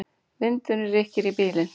Vindurinn rykkir í bílinn.